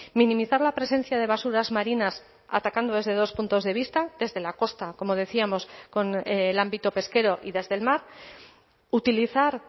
minimizar la presencia de basuras marinas atacando desde dos puntos de vista desde la costa como decíamos con el ámbito pesquero y desde el mar utilizar